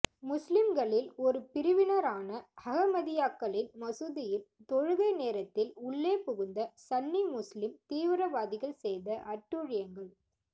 முஸ்லீம்களில் ஒரு பிரிவினரான அஹமதியாக்களின் மசூதியில் தொழுகை நேரத்தில் உள்ளே புகுந்த சன்னி முஸ்லீம் தீவிரவாதிகள் செய்த அட்டூழியங்கள்